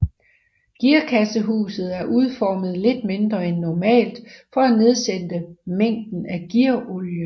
Gearkassehuset er udformet lidt mindre end normalt for at nedsætte mængden af gearolie